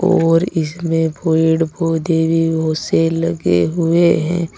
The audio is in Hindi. और इसमें पेड़ पौधे भी बोहोत से लगे हुए हैं।